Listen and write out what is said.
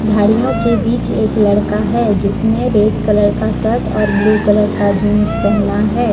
झाड़ियां के बीच एक लड़का है जिसने रेड कलर का शर्ट और ब्लू कलर का जींस पहना है।